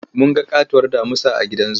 Mun ga ƙatuwar damusa a gidan zu.